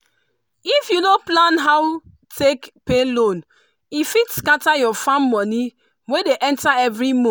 if you no plan how take pay loan e fit scatter your farm money wey dey enter every month.